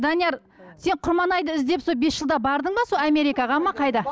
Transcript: данияр сен құрманайды іздеп сол бес жылда бардың ба сол америкаға ма қайда